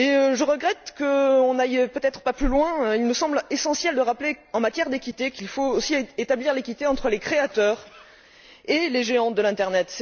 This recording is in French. Je regrette cependant que nous n'allions peut être pas plus loin. Il me semble essentiel de rappeler qu'en matière d'équité, il faut aussi établir l'équité entre les créateurs et les géants de l'internet.